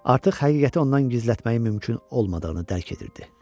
Artıq həqiqəti ondan gizlətməyi mümkün olmadığını dərk edirdi.